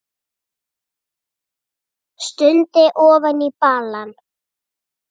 Stundi ofan í balann.